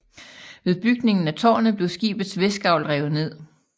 Ved bygningen af târnet blev skibets vestgavl revet ned